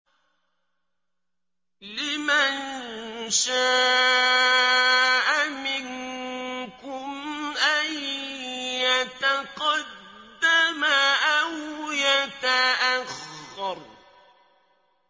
لِمَن شَاءَ مِنكُمْ أَن يَتَقَدَّمَ أَوْ يَتَأَخَّرَ